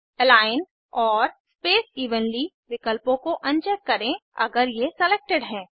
align और space evenly विलकपों को अनचेक करें अगर ये सेलेक्टेड हैं